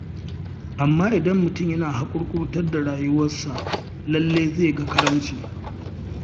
Amma idan mutum yana haƙurƙurtar da rayuwarsa, lallai zai ga karamci.